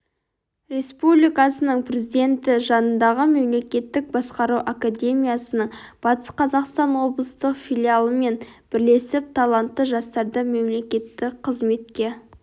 республикасының президенті жанындағы мемлекеттік басқару академиясының батыс қазақстан облыстық филиалымен бірлесіп талантты жастарды мемлекеттік қызметке